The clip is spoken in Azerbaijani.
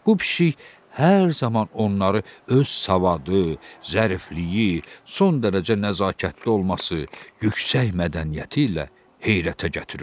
Bu pişik hər zaman onları öz savadı, zərifliyi, son dərəcə nəzakətli olması, yüksək mədəniyyəti ilə heyrətə gətirirdi.